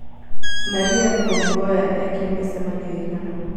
maria tom mboya ekĩre micemanio ĩgana